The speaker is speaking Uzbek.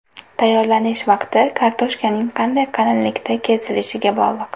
Tayyorlanish vaqti kartoshkaning qanday qalinlikda kesilishiga bog‘liq.